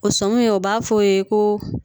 O sɔmi o b'a fɔ o ye ko